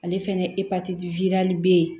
Ale fɛnɛ be yen